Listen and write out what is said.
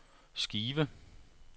skive